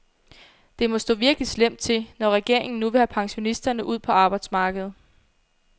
Det må stå virkelig slemt til, når regeringen nu vil have pensionisterne ud på arbejdsmarkedet.